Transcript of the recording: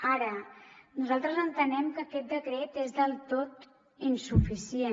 ara nosaltres entenem que aquest decret és del tot insuficient